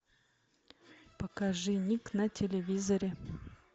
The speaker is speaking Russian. покажи ник на телевизоре